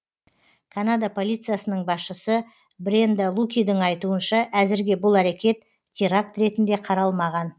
канада полициясының басшысы бренда лукидің айтуынша әзірге бұл әрекет теракт ретінде қаралмаған